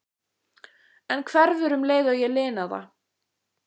En hverfur um leið og ég lina það.